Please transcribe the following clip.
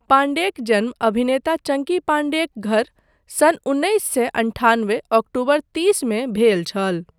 पाण्डेक जन्म अभिनेता चङ्की पाण्डेक घर सन् उन्नैस सए अंठानबे अक्टोबर तीसमे भेल छल।